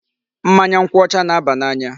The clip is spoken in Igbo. Mmanya nkwụ ọcha na-aba n"anya.